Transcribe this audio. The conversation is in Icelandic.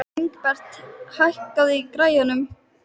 Ingibert, hækkaðu í græjunum.